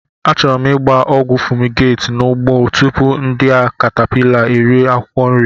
Achọrọ m gba ogwu fumigate n'ugbo tupu ndị a caterpillars eri m akwukwo nri.